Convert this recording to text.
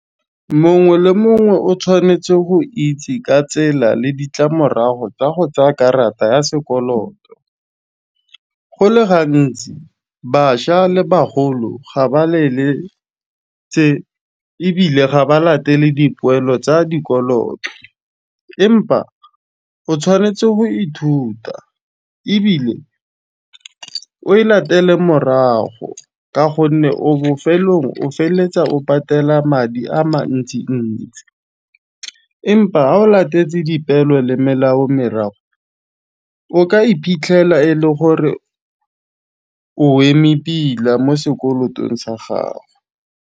Mongwe le mongwe o tshwanetse go itse ka tsela le ditlamorago tsa go tsa'a karata ya sekoloto. Go le gantsi, baša le bagolo ga ba leletse ebile ga ba latele dipoelo tsa dikoloto, empa o tshwanetse go ithuta ebile o e latele morago ka gonne o bofelong o feletsa o patela madi a mantsi-ntsi, empa ga o latetse dipeelo le melao o ka iphitlhela e le gore o eme pila mo sekolotong sa gago.